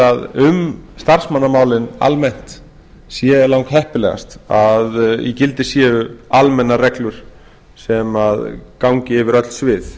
að um starfsmannamálin almennt sé langheppilegast að í gildi séu almennar felur sem gangi yfir öll svið